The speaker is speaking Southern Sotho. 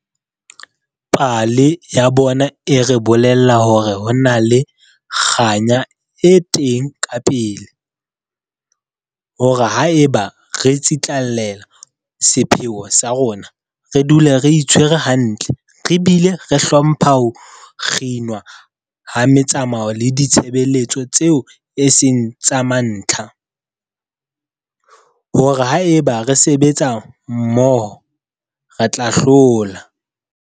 Pale ya bona e re bolella hore ho na le kganya e teng kapele, hore haeba re tsitlallela sepheo sa rona, re dula re itshwere hantle re bile re hlompha ho kginwa ha metsamao le ditshebeletso tseo e seng tsa mantlha, hore haeba re sebetsa mmoho, re tla hlola.